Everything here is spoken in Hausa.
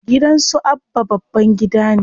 Gidan su Abba babban gida ne.